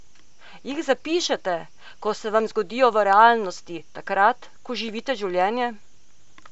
Jih zapišete, ko se vam zgodijo v realnosti, takrat, ko živite življenje?